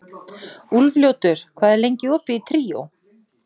Úlfljótur, hvað er lengi opið í Tríó?